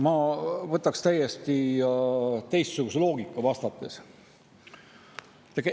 Ma lähtuks vastates täiesti teistsugusest loogikast.